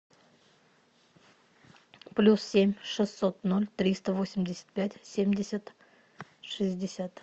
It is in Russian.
плюс семь шестьсот ноль триста восемьдесят пять семьдесят шестьдесят